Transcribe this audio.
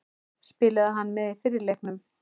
Spilaði hann með í fyrri leiknum?